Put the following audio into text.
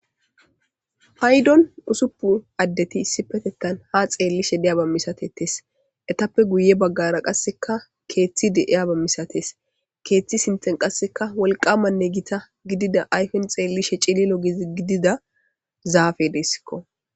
Haydon usuppu addeti issipetekan ha xeellishe deyaba misatetes etappe guye baggara qasseka keeththi deiyaba misates keeththi sinten qasseka wolqamanne gita gidida ayfen xeellishe cililo gizi gidida zaafe deessikko.